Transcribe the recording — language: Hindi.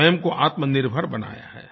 स्वयं को आत्मनिर्भर बनाया है